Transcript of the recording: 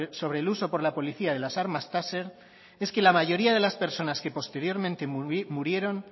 sobre el uso por la policía de las armas taser es que la mayoría de las personas que posteriormente murieron